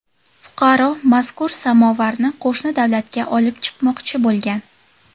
Fuqaro mazkur samovarni qo‘shni davlatga olib chiqmoqchi bo‘lgan.